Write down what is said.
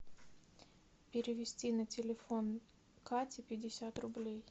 перевести на телефон кати пятьдесят рублей